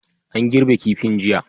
An girbe kifin jiya.